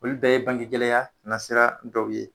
Olu bɛɛ ye bange gɛlɛya na sera dɔw ye.